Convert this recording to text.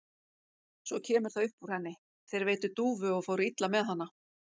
Svo kemur það upp úr henni: Þeir veiddu dúfu og fóru illa með hana.